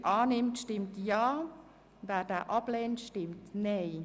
Wer diesen annimmt, stimmt Ja, wer diesen ablehnt, stimmt Nein.